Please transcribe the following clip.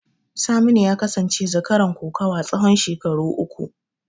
Saminu ya kasance zakaran kokawa tsawon shekaru uku.